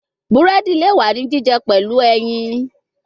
Buredi le wa ni jijẹ pẹlu ẹyin